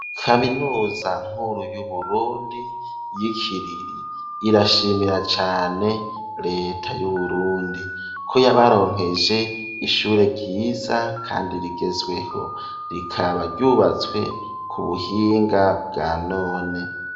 Kaminuza nkuru y'uburundi y'ikiriri irashimira cane reta yu Burundi ko yabaronkeje ishure ryiza kandi rigezweho rikaba ryubatswe ku buhinga bwa none.